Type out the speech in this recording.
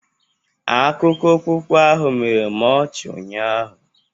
Akụkọ okpukpe ahụ mere m ọchị ụnyaahụ